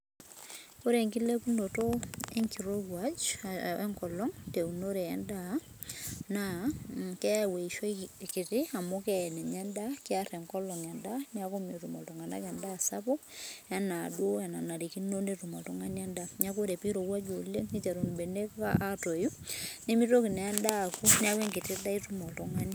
Ore enkilepunoto enkolong teunoto endaa na keyau eishoi kiti amu kear endaa neaku metum ltunganak endaa sapuk ana duo enanarikino petum oltungani nimitoku endaa neaku enkiti daa itum oltungani